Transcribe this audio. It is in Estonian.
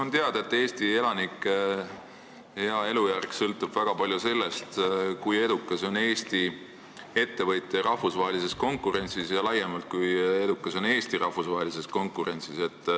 On teada, et Eesti elanike elujärg sõltub väga palju sellest, kui edukad on Eesti ettevõtjad rahvusvahelises konkurentsis ja laiemalt, kui edukas on Eesti rahvusvahelises konkurentsis.